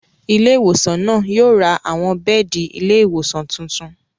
Ilé ìwòsàn náà yóò ra àwọn bẹ́ẹ̀di ilé ìwòsàn tuntun